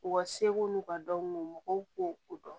U ka seko n'u ka dɔn mɔgɔw k'u dɔn